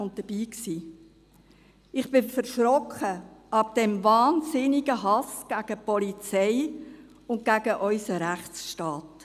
Ich erschrak über dem wahnsinnigen Hass gegen die Polizei und gegen unseren Rechtsstaat.